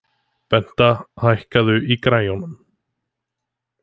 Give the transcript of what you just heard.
Benta, hækkaðu í græjunum.